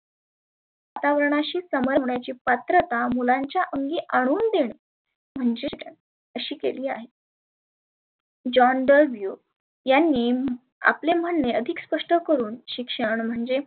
वातावर्णाशी समन होण्याची पात्रता मुलांच्या अंगी आणून देने म्हनजे शिक्षण अशी केली आहे. John Duvio यांनी आपले म्हणने अधिक स्पष्ट करुण शिक्षण म्हणजे.